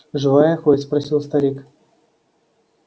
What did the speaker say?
живая хоть спросил старик